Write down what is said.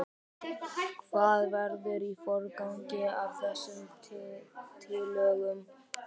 Þórhildur: Hvað verður í forgangi af þessum tillögum?